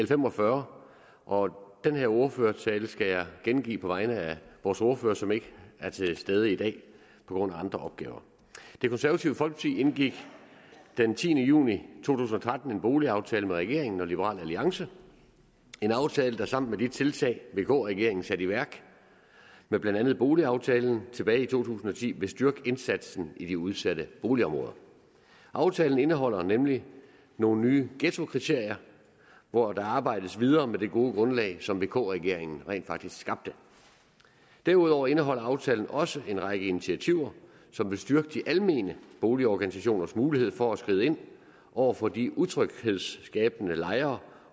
fem og fyrre og den her ordførertale skal jeg gengive på vegne af vores ordfører som ikke er til stede i dag på grund af andre opgaver det konservative folkeparti indgik den tiende juni to tusind og tretten en boligaftale med regeringen og liberal alliance en aftale der sammen med de tiltag vk regeringen satte i værk med blandt andet boligaftalen tilbage i to tusind og ti vil styrke indsatsen i de udsatte boligområder aftalen indeholder nemlig nogle nye ghettokriterier hvor der arbejdes videre med det gode grundlag som vk regeringen rent faktisk skabte derudover indeholder aftalen også en række initiativer som vil styrke de almene boligorganisationers mulighed for at skride ind over for de utryghedsskabende lejere